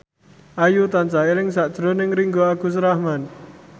Ayu tansah eling sakjroning Ringgo Agus Rahman